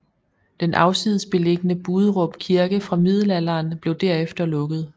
Den afsides beliggende Buderup Kirke fra Middelalderen blev derefter lukket